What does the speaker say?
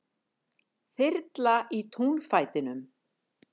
Þyrla í túnfætinum